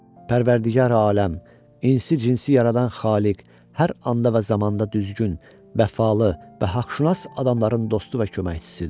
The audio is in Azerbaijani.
Pərvərdigar aləm, insi-cinsi yaradan xaliq hər anda və zamanda düzgün, vəfalı və haqşünas adamların dostu və köməkçisidir.